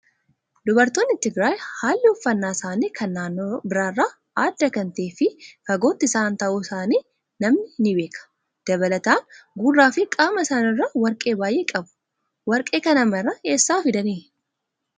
Dubartoonni Tigraay haalli uffannaa isaanii kan naannoo biraa irraa adda kan ta'ee fi fagootti isaan ta'uu isaanii namni ni beeka. Dabalataan gurraa fi qaama isaaniirraa warqee baay'ee qabu. Warqee kana maraa eessaa fidanii?